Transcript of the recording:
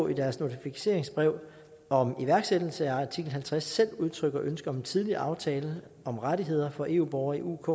i deres notificeringsbrev om iværksættelse af artikel halvtreds selv udtrykker ønske om en tidligere aftale om rettigheder for eu borgere i uk